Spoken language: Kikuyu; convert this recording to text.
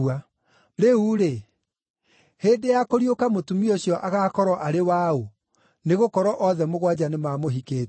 Rĩu-rĩ, hĩndĩ ya kũriũka mũtumia ũcio agaakorwo arĩ wa ũ, nĩgũkorwo othe mũgwanja nĩmamũhikĩtie?”